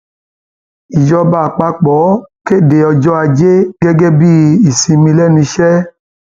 ìjọba àpapọ àpapọ kéde ọjọ ajé gẹgẹ bíi ìsinmi lẹnu iṣẹ